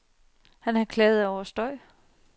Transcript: Han havde klaget over støj.